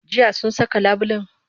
Jiya sun saka labulen?